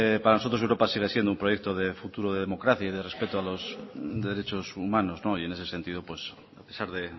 para nosotros europa sigue siendo un proyecto de futuro de democracia y de respeto a los derechos humanos y en ese sentido a pesar de